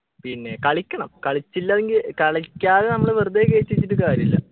പിന്നെ കളിക്കണം കളിച്ചില്ലെങ്കിൽ കളിക്കാതെ നമ്മള് വെറുതെ കേറ്റി വച്ചിട്ട് കാര്യല്ല